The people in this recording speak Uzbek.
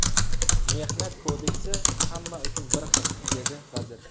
Mehnat kodeksi hamma uchun bir xil”, dedi vazir.